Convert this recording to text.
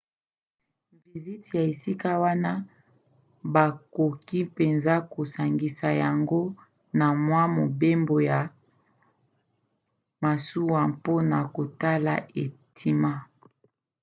vizite ya esika wana bakoki mpenza kosangisa yango na mwa mobembo ya masuwa mpona kotala etima